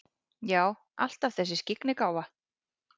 Já, alltaf þessi skyggnigáfa.